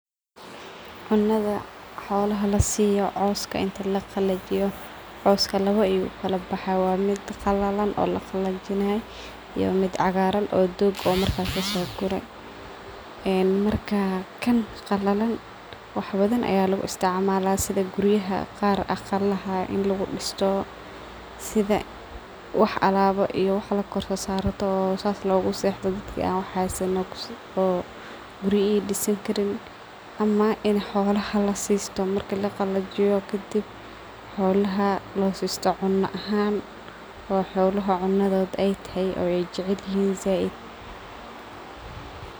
Cunadha xoolaha lasiyo cooska inta lagalajiyo, cooska lawa ukalabahaya; waa mid qalalan laqalajinayo iyo mid cagaraan oo doog markas lagasogure. Marka kaan qalalan wax badhan aya lagu isticmalaya sidhaa guriyaha qaar aqalaha in lagudisto sidha wax alawa iyo wax lakorsarto oo saas logasexdo daaki an waxsanin oo guriya ay disaan karin ama in xoolaha laasisto marka lagalajiyo kadib xoolaha loo sisto cunahan oo xoolaha cunadhood ay tahay oo ay jecelihin zaid.